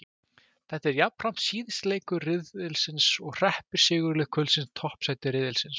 Þetta er jafnframt síðasti leikur riðilsins og hreppir sigurlið kvöldsins toppsæti riðilsins.